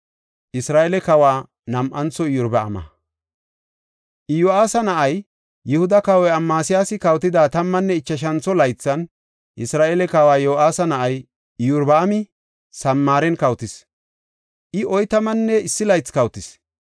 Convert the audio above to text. Iyo7aasa na7ay, Yihuda kawoy Amasiyaasi kawotida tammanne ichashantho laythan, Isra7eele kawa Yo7aasa na7ay Iyorbaami Samaaren kawotis; I oytamanne issi laythi kawotis.